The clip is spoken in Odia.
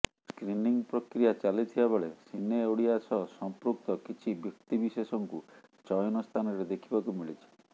ସ୍କ୍ରିନିଂ ପ୍ରକ୍ରିୟା ଚାଲିଥିବା ବେଳେ ସିନେ ଓଡ଼ିଆ ସହ ସମ୍ପୃକ୍ତ କିଛି ବ୍ୟକ୍ତିବିଶେଷଙ୍କୁ ଚୟନ ସ୍ଥାନରେ ଦେଖିବାକୁ ମିଳିଛି